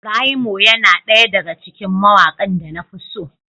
Braymo yana ɗaya daga cikin mawakan da na fi so.